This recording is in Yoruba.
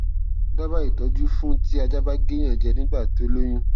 dábàá ìtọjú fún ti ajá ba ge eyan je nígbà tí ó lóyún